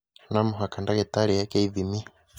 No mũhaka ndagĩtarĩ eeke ithimi